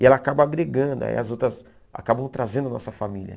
E ela acaba agregando, aí as outras acabam trazendo a nossa família.